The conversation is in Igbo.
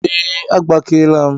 Ee, agbakeela m